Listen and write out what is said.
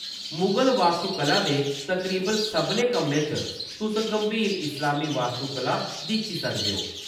मुगल वास्तुकला दे तकरीबन सभनें कम्में च, तुस गंभीर इस्लामी वास्तुकला दिक्खी सकदे ओ।